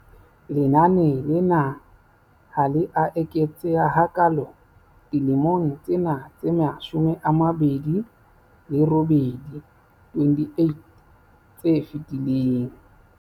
Lenane lena ha le a eketseha hakaalo dilemong tsena tse 28 tse fetileng.